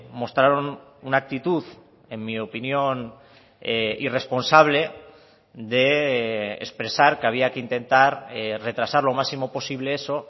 mostraron una actitud en mi opinión irresponsable de expresar que había que intentar retrasar lo máximo posible eso